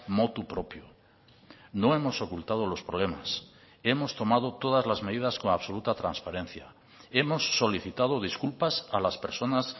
motu propio no hemos ocultado los problemas hemos tomado todas las medidas con absoluta transparencia hemos solicitado disculpas a las personas